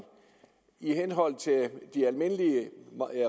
i henhold til de almindelige